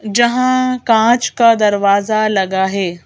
जहां कांच का दरवाजा लगा है।